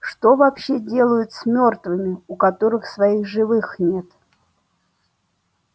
что вообще делают с мёртвыми у которых своих живых нет